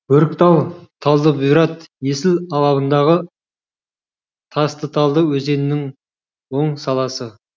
бөріктал талдыбұйрат есіл алабындағы тастыталды өзенінің оң саласы